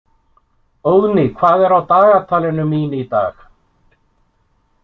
Óðný, hvað er á dagatalinu mín í dag?